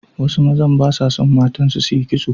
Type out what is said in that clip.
Wasu mazan ba sa son matansu su yi kitso.